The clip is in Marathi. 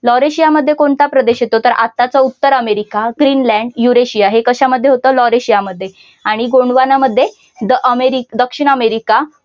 लॉरेशियामध्ये कोणत्या प्रदेशात येतो तर आत्ताचा उत्तर अमेरिका, ग्रीन लँड, युरेशिया हे कशामध्ये होतं लॉरेशियामध्ये आणि गोंडवाना मध्ये द अमेरि दक्षिण अमेरिका